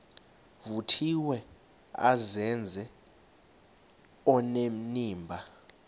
vuthiwe azenze onenimba